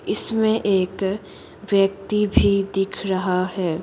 इसमें एक व्यक्ति भी दिख रहा है।